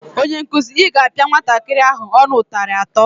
Onyenkụzi, Ị ga-apịa nwatakịrị ahụ ọnụ ụtarị atọ!